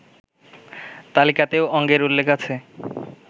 তালিকাতেও অঙ্গের উল্লেখ আছে